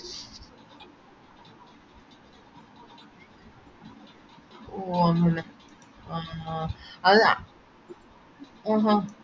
ഓ അങ്ങനെ അത് ആ ഹ ഹ